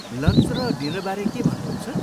Lunch र डिनरबारे के भन्नुहुन्छ?